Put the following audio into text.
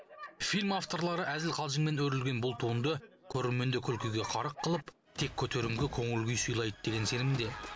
фильм авторлары әзіл қалжыңмен өрілген бұл туынды көрерменді күлкіге қарық қылып тек көтеріңкі көңіл күй сыйлайды деген сенімде